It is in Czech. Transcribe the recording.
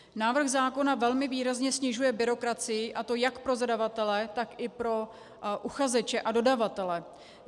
Návrh zákona velmi výrazně snižuje byrokracii, a to jak pro zadavatele, tak i pro uchazeče a dodavatele.